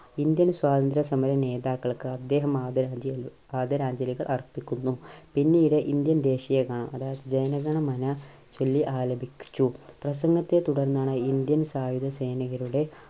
Indian സ്വാതന്ത്ര്യ സമര നേതാക്കൾക്ക് അദ്ദേഹം ആദരാഞ്ജലി, ആദരാഞ്ജലികൾ അർപ്പിക്കുന്നു. പിന്നീട് ഇന്ത്യൻ ദേശീയ ഗാനം അതായത് ജനഗണമന ചൊല്ലി ആലപിച്ചു. പ്രസംഗത്തെ തുടർന്നാണ് ഇന്ത്യൻ സായുധ സൈനികരുടെ